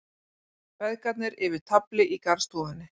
Feðgarnir yfir tafli í garðstofunni.